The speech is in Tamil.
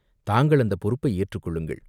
தாங்கள் அந்தப் பொறுப்பை ஏற்றுக்கொள்ளுங்கள்.